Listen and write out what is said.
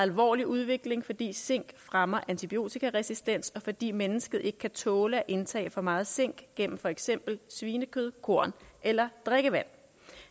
alvorlig udvikling fordi zink fremmer antibiotikaresistens og fordi mennesket ikke kan tåle at indtage for meget zink gennem for eksempel svinekød korn eller drikkevand